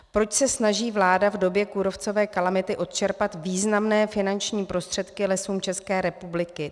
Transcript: Proč se snaží vláda v době kůrovcové kalamity odčerpat významné finanční prostředky Lesům České republiky?